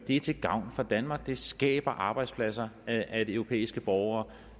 er til gavn for danmark det skaber arbejdspladser at at europæiske borgere